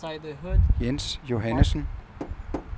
Jens Johannessen